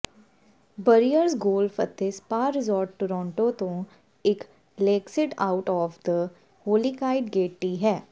Briars golf ਅਤੇ spa resort Toronto ਤੋਂ ਇੱਕ ਲੇਕਸੀਡ ਆਊਟ ਆਫ ਦ ਹੋਲੀਕਾਈਡ ਗੇਟਈ ਹੈ